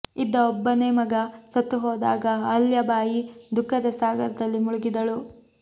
ಇದ್ದ ಒಬ್ಬನೇ ಮಗ ಸತ್ತು ಹೋದಾಗ ಅಹಲ್ಯಾಬಯಿ ದುಃಖದ ಸಾಗರದಲ್ಲಿ ಮುಳುಗಿದಳು